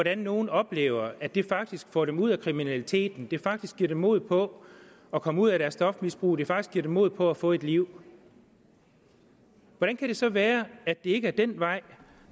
at nogle oplever at det faktisk får dem ud af kriminalitet at det faktisk giver dem mod på at komme ud af deres stofmisbrug det faktisk giver dem mod på at få et liv hvordan kan det så være at det ikke er den vej